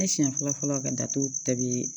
Ne siɲɛ fɔlɔ fɔlɔ ka datugu bɛɛ bɛ